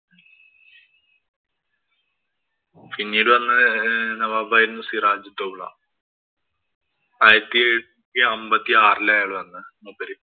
പിന്നിട് വന്ന നവാബായിരുന്നു സിറാജ് ദൌള. ആയിരത്തി എഴുനൂറ്റി അമ്പത്തി ആറിലായാതാണ് മൂപ്പര്.